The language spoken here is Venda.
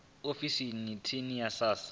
ofisini ya tsini ya sars